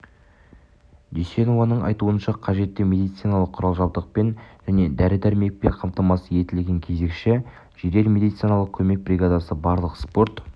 дүйсенованың айтуынша қажетті медициналық құрал-жабдықпен және дәрі-дәрмекпен қамтамасыз етілген кезекші жедел медициналық көмек бригадасы барлық спорт